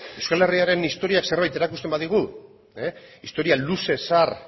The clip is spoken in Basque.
ez euskal herriaren historia zerbait erakusten badigu historia luze zahar